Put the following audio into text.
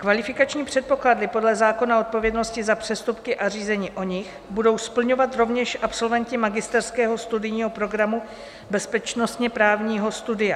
Kvalifikační předpoklady podle zákonné odpovědnosti za přestupky a řízení o nich budou splňovat rovněž absolventi magisterského studijního programu bezpečnostně-právního studia.